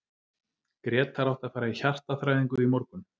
Grétar átti að fara í hjartaþræðingu í morgun.